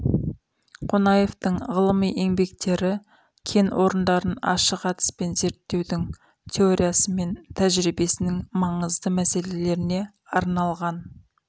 қонаевтың ғылыми еңбектері кен орындарын ашық әдіспен зерттеудің теориясы мен тәжиребесінің маңызды мәселелеріне арналған